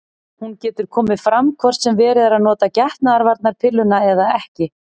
Hún getur komið fram hvort sem verið er að nota getnaðarvarnarpilluna eða ekki.